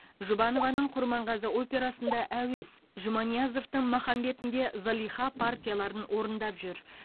жұбанованың құрманғазы операсында әуес жұманиязовтың махамбетінде зылиха партияларын орындап жүр